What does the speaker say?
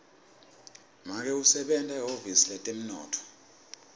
make usebenta ehhovisi letemnotfo